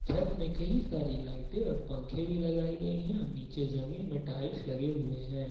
छत में कई सारी लाइटें और पंखे भी लगाए गए हैं और नीचे जमीन में टाइल्स लगे हैं।